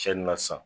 Cɛnni na sisan